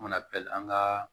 An mana pɛrɛn an ka